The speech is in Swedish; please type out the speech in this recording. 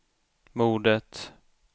mordet